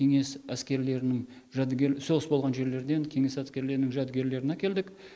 кеңес әскерлерінің жәдігер соғыс болған жерлерден кеңес әскерлерінің жәдігерлерін әкелдік